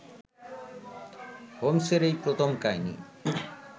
হোমস-এর এই প্রথম কাহিনী